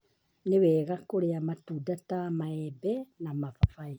Nĩ wega kũrĩa matunda ta maembe na mababaĩ